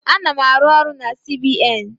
Ana-arụ ọrụ na CBN